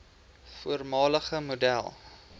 voormalige model